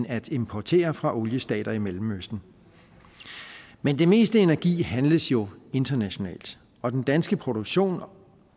at importere fra oliestater i mellemøsten men det meste energi handles jo internationalt og den danske produktion